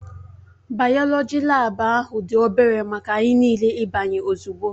Bayoloji laabu ahụ dị obere maka anyị niile ịbanye ozugbo